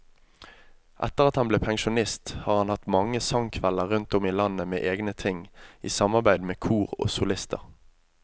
Etter at han ble pensjonist har han hatt mange sangkvelder rundt om i landet med egne ting, i samarbeid med kor og solister.